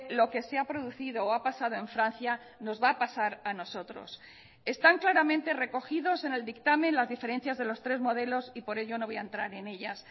lo que se ha producido o ha pasado en francia nos va a pasar a nosotros están claramente recogidos en el dictamen las diferencias de los tres modelos y por ello no voy a entrar en ellas